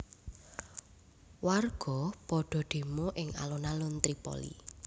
Warga padha demo ing alun alun Tripoli